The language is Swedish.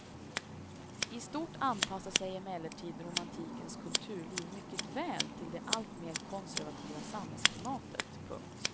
I stort anpassar sig emellertid romantikens kulturliv mycket väl till det allt mer konservativa samhällsklimatet. punkt